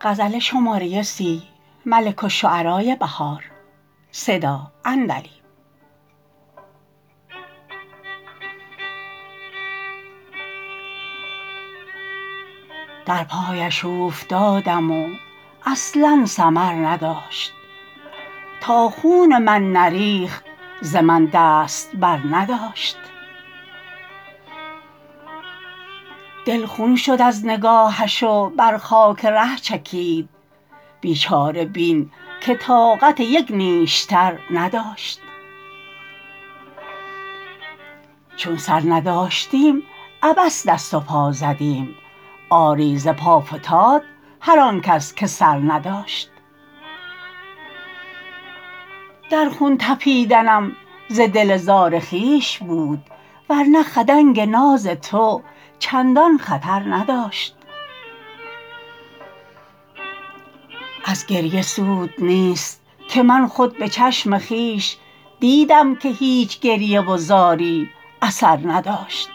در پایش اوفتادم و اصلا ثمر نداشت تا خون من نریخت ز من دست برنداشت دل خون شد از نگاهش وبر خاک ره چکید بیچاره بین که طاقت یک نیشتر نداشت چون سر نداشتیم عبث دست و پا زدیم آری ز پا فتاد هرآن کس که سر نداشت در خون طپیدنم ز دل زار خویش بود ورنه خدنگ ناز تو چندان خطر نداشت ازگریه سود نیست که من خود به چشم خویش دیدم که هیچ گریه و زاری اثر نداشت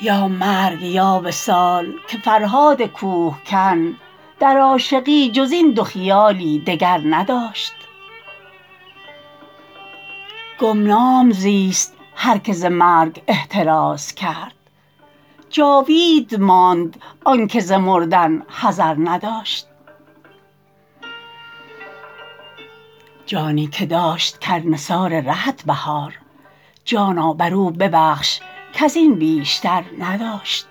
یا مرگ یا وصال که فرهادکوه کن در عاشقی جز این دو خیالی دگر نداشت گمنام زیست هرکه ز مرگ احترازکرد جاوید ماند آنکه ز مردن حذر نداشت جانی که داشت کرد نثار رهت بهار جانا بر او ببخش کزین بیشتر نداشت